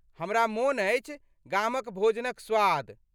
हमरा मोन अछि गामक भोजनक स्वाद।